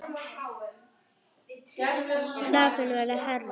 Krafan verður hærri.